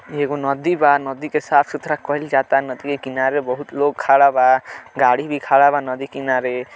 ई एगो नदी बा। नदी के साफ सुथरा कइल जाता। नदी के किनारे बहुत लोग खड़ा बा। गाड़ी भी खड़ा बा नदी किनारे।